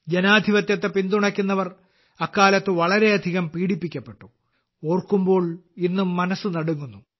ജനാധിപത്യത്തെ പിന്തുണയ്ക്കുന്നവർ അക്കാലത്ത് വളരെയധികം പീഡിപ്പിക്കപ്പെട്ടു ഓർക്കുമ്പോൾ ഇന്നും മനസ്സ് നടുങ്ങുന്നു